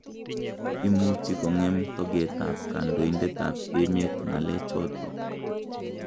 Imuchi kong'em tokeet ab kandoindet ab emet ng'alek chotok